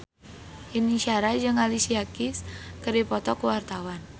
Yuni Shara jeung Alicia Keys keur dipoto ku wartawan